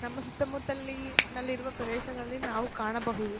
ನಮ್ಮ ಸುತ್ತ ಮುತ್ತಲಿ ನಲ್ಲಿರುವ ಪ್ರದೇಶಗಳಲ್ಲಿ ನಾವು ಕಾಣಬಹುದು.